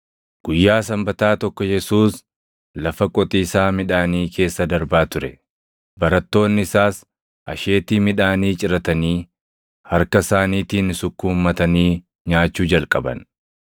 Guyyaa Sanbataa tokko Yesuus lafa qotiisaa midhaanii keessa darbaa ture; barattoonni isaas asheetii midhaanii ciratanii harka isaaniitiin sukkuummatanii nyaachuu jalqaban.